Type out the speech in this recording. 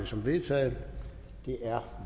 som vedtaget det er